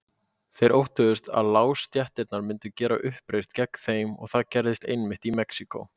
Þeir óttuðust að lágstéttirnar myndu gera uppreisn gegn þeim og það gerðist einmitt í Mexíkó.